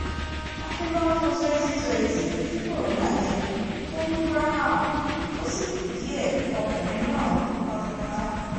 àfi lọ́dún twenty twenty tí corona dé tó mú graham tó sì kù díẹ̀ kọkùnrin náà kú pátápátá